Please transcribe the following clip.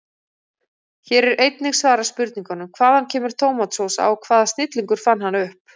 Hér er einnig svarað spurningunum: Hvaðan kemur tómatsósa og hvaða snillingur fann hana upp?